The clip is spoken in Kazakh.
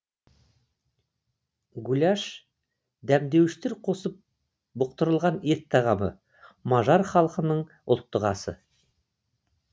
гуляш дәмдеуіштер қосып бұқтырылған ет тағамы мажар халқының ұлттық асы